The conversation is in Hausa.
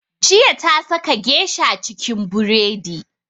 Jiya ta saka geisha cikin buredi